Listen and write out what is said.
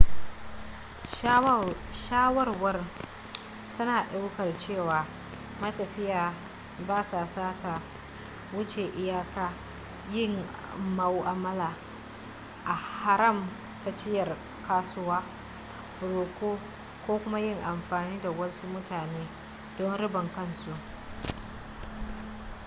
shawarwar tana daukar cewa matafiya ba sa sata wuce iyaka yin mu'amala a haramtacciyar kasuwa roƙo ko kuma yin amfani da wasu mutane don ribar kan su